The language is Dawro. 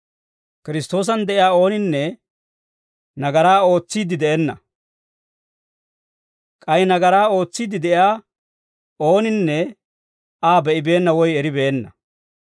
Kiristtoosan de'iyaa ooninne nagaraa ootsiidde de'enna; k'ay nagaraa ootsiidde de'iyaa ooninne Aa be'ibeenna woy eribeenna.